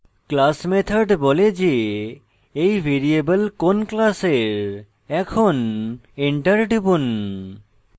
class method বলে যে এই ভ্যারিয়েবল কোন class এখন enter টিপুন